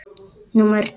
Númer tvö